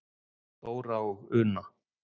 Dóra og Una.